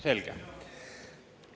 Selge.